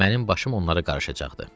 Mənim başım onları qarışacaqdı.